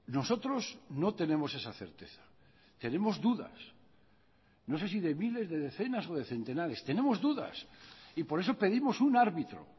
nosotros no tenemos esa certeza tenemos dudas no sé si de miles de decenas o de centenares tenemos dudas y por eso pedimos un árbitro